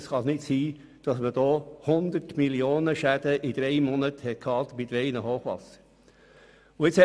Damals war man der Meinung, es könne ja nicht sein, dass aufgrund eines Hochwassers innerhalb von drei Monaten Schäden in der Höhe von 100 Mio. Franken auftreten.